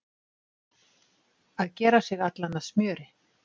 Að gera sig allan að smjöri